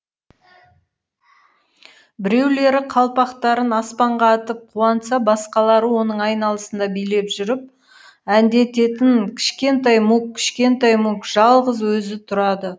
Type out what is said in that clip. біреулері қалпақтарын аспанға атып қуанса басқалары оның айналасында билеп жүріп әндететін кішкентай мук кішкентай мук жалғыз өзі тұрады